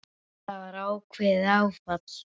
Það var ákveðið áfall.